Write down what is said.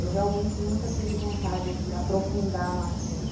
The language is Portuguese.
Eu realmente nunca tive vontade de aprofundar no assunto.